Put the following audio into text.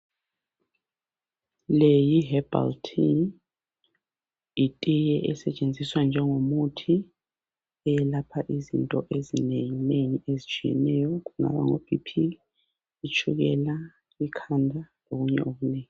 Leyi yi"herbal tea".Yitiye esetshenziswa njengomuthi eyelapha izinto ezinengi nengi ezitshiyeneyo kungaba ngo"BP",itshukela ,ikhanda lokunye okunengi.